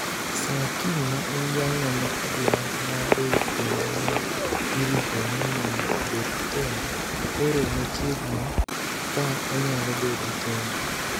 Sir Kim ma en jalno ma odhial ma be kendo ne irito ni mondo obed tenge ,koro machiegni kaa onyalo bedo tenge